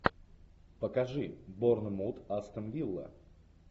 покажи борнмут астон вилла